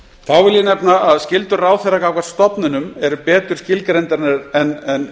þá vil ég nefna að skyldur ráðherra gagnvart stofnunum eru betur skilgreindar en